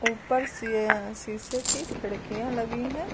ऊपर शीए शीशे की खिड़कियां लगी हैं।